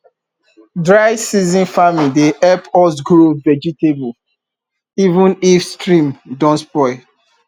dry season farming dey help us grow vegetable even if stream don dry